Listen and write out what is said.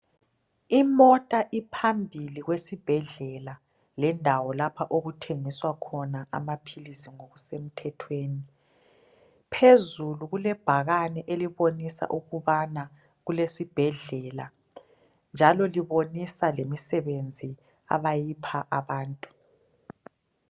Imota iphambili kwesibhedlela lendawo lapho okuthengiswa khona amaphilisi ngokusemthethweni. Phezulu kulebhakane elibonisa ukubana kulesibhedlela njalo libonisa lemisebenzi abayipha abantu.